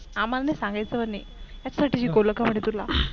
आम्हांला नाही सांगायचं म्हणे याच्या साठी शिकवलं का म्हणे तुला